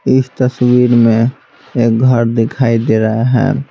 इस तस्वीर में एक घर दिखाई दे रहा है।